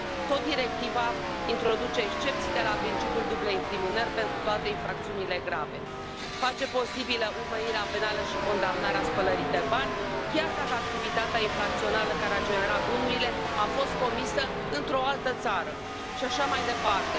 Tot directiva introduce excepții de la principiul dublei incriminări pentru toate infracțiunile grave, face posibilă urmărirea penală și condamnarea spălării de bani, chiar dacă activitatea infracțională care a generat bunurile a fost comisă într o altă țară și așa mai departe.